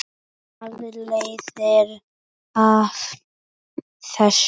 Hvað leiðir af þessu?